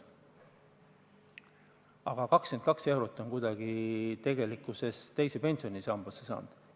Vaid 22 eurot on tegelikkuses teise pensionisambasse juurde saanud.